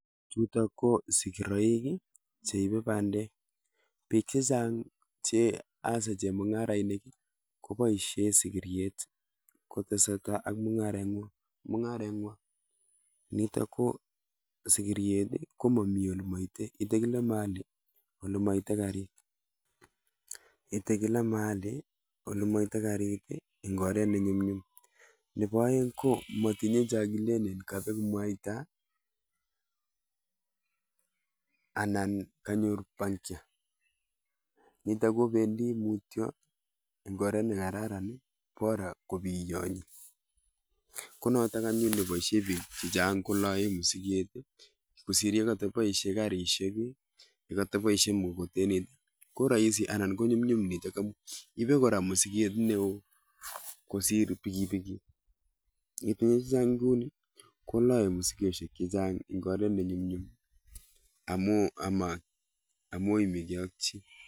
Chutok ko sigiroik cheibei bandek, pik chechang asa chemung'arainik koboishe sigiryet kotesetai ak mungareng'wai. Nitok ko sigiryet ko momi ole moitei, itei kila mahali ale maitei karit. Itei kila mahali ole maitei karit eng oret ne nyumnyum. Nebo oeng ko matinyei cho kilen kabeku mwaita anan kanyor puncture nitok obendi mutyo en oret nekararan bora kobiyonyi. Ko notok anyun neboishe bik chechang koloei msiket kosir yekata boishe karishek, karit , yekataboishe mkokoteni ko rahisi anan ko nyumnyum nitok amun ibei kora msiket neo kosir pikipiki. Nginyoru chechang kou ni koloei mikoshek chechang eng oret ne nyumnyum amo imegei ak chi.